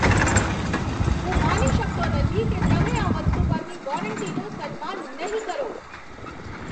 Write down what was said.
હું માની શકતો નથી કે તમે આ વસ્તુ પરની વોરંટીનું સન્માન નહીં કરો.